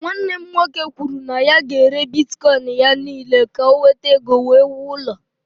Nwanne m nwoke kwuru na ya ga-ere bitkọịn ya niile ka o nweta ego wee wuo ụlọ.